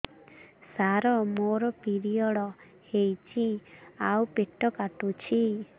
ସାର ମୋର ପିରିଅଡ଼ ହେଇଚି ଆଉ ପେଟ କାଟୁଛି